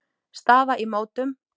Staða í mótum